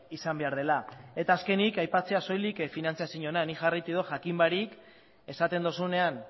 izan behar dela eta azkenik aipatzea soilik finantziazioarena nik jarraitu dut jakin barik esaten duzunean